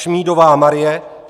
Šmídová Marie